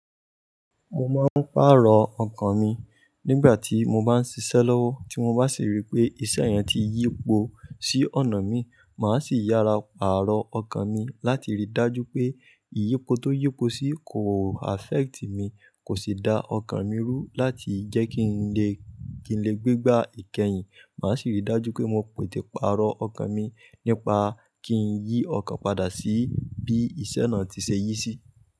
Mo máa ń pàrọ̀ ọkàn mi nígbà tí mo bá ń ṣiṣẹ́ lọ́wọ́, tí mo bá sì rí pé iṣẹ́ yẹn ti yípo sí ọ̀nà mi, màá sì yara pàrọ̀ ọkàn mi láti rí dájú pé ìyípo tó yípo sí kò affect mi, kò sì da ọkàn mi rú láti jẹ́ kí n lè, kí n lè gbé gbá ìkẹyìn. Màá sì rí dájú pé mo pète pàrọ̀ ọkàn mi nípa kí n yí ọkàn padà sí bí iṣẹ́ náà ti ṣe yí sí.